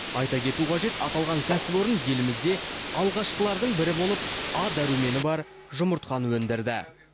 айта кету қажет аталған кәсіпорын елімізде алғашқылардың бірі болып а дәрумені бар жұмыртқаны өндірді